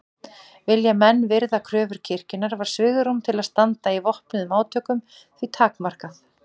Vildu menn virða kröfur kirkjunnar var svigrúm til að standa í vopnuðum átökum því takmarkað.